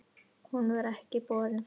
Hún var ekki borin fram.